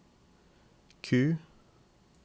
Q